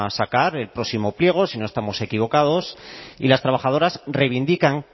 sacar el próximo pliego si no estamos equivocados y las trabajadoras reivindican